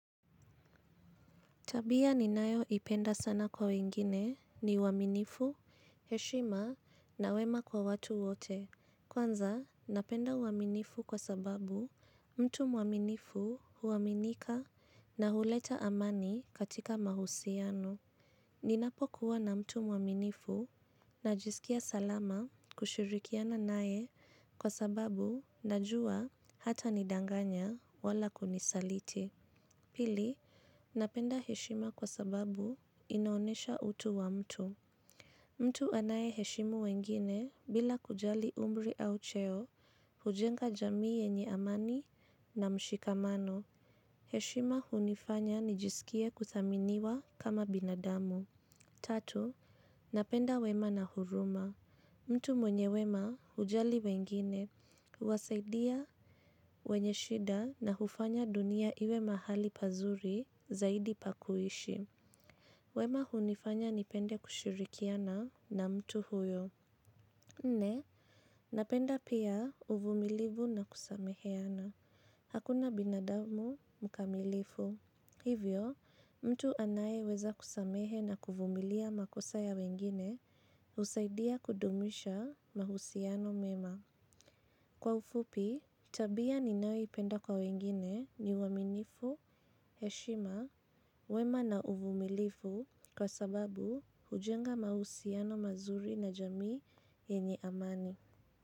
Tabia ninayo ipenda sana kwa wengine ni uaminifu, heshima na wema kwa watu wote. Kwanza napenda uaminifu kwa sababu mtu mwaminifu huaminika na huleta amani katika mahusiano. Ninapokuwa na mtu mwaminifu najisikia salama kushirikiana nae kwa sababu najua hatanidanganya wala kunisaliti. Pili, napenda heshima kwa sababu inaonesha utu wa mtu. Mtu anaye heshimu wengine bila kujali umri au cheo, hujenga jamii yenye amani na mshikamano. Heshima hunifanya nijisikie kuthaminiwa kama binadamu. Tatu, napenda wema na huruma. Mtu mwenye wema hujali wengine, huwasaidia wenye shida na hufanya dunia iwe mahali pazuri zaidi pakuishi. Wema hunifanya nipende kushirikiana na mtu huyo. Nne, napenda pia uvumilivu na kusameheana. Hakuna binadamu mkamilifu. Hivyo, mtu anayeweza kusamehe na kuvumilia makosa ya wengine husaidia kudumisha mahusiano mema. Kwa ufupi, tabia ninayoipenda kwa wengine ni uaminifu, heshima, wema na uvumilivu kwa sababu hujenga mahusiano mazuri na jamii yenye amani.